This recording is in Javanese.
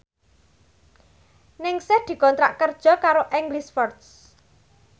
Ningsih dikontrak kerja karo English First